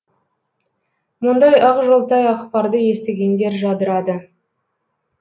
мұндай ақжолтай ақпарды естігендер жадырады